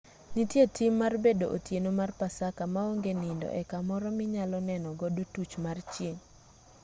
nitie tim mar bedo otieno mar pasaka ma onge nindo e kamoro minyalo neno godo tuch mar chieng'